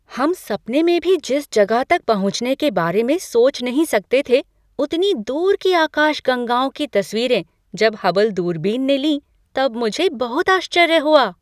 हम सपने में भी जिस जगह तक पहुँचने के बारे में सोच नहीं सकते थे उतनी दूर की आकाशगंगाओं की तस्वीरें जब हबल दूरबीन ने ली तब मुझे बहुत आश्चर्य हुआ।